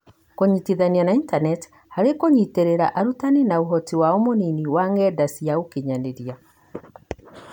Kũnyitanithia na intaneti harĩ kũnyitĩrĩra arutani na ũhoti wao mũnini wa ng'enda-inĩ cia ũkinyanĩria.